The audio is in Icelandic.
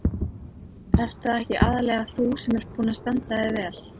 Ert það ekki aðallega þú sem ert búin að standa þig vel?